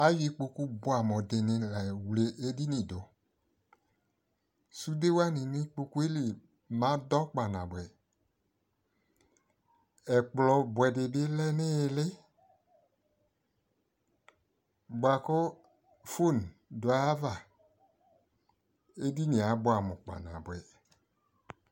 ayɔ ikpɔkʋ bʋamʋ dini layɔ wlɛ ɛdini dʋ, sʋdɛ wani nʋ ikpɔkʋɛ li madɔ kpa nabʋɛ, ɛkplɔ bʋɛ dibi lɛ nʋ ili bʋakʋ phone dʋ ayiava, ɛdiniɛ abʋamʋ kpa nabʋɛ